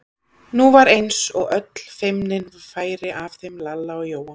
Nú var eins og öll feimni færi af þeim Lalla og Jóa.